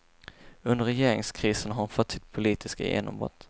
Under regeringskrisen har hon fått sitt politiska genombrott.